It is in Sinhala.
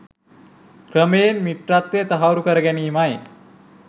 ක්‍රමයෙන් මිත්‍රත්වය තහවුරු කරගැනීමයි.